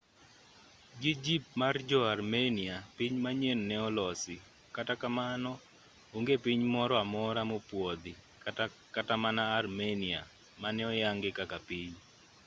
gi jip mar jo-armenia piny manyien ne olosi kata kamano onge piny moro amora mopuodhi kata mana armenia mane oyange kaka piny